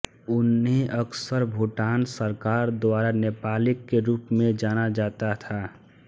उन्हें अक्सर भूटान सरकार द्वारा नेपाली के रूप में जाना जाता था